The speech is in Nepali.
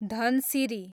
धनसिरी